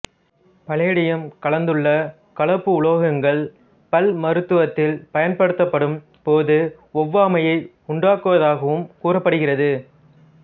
palladium கலந்துள்ள கலப்புலோகங்கள் பல் மருத்துவத்தில் பயன்படுத்தப்படும் போது ஒவ்வாமையை உண்டாக்குவதாகவும் கூறப்படுகிறது